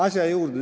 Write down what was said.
Asja juurde.